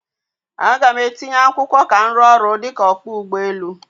A ga m etinye akwụkwọ ka m rụọ ọrụ dịka ọkpọ ụgbọ elu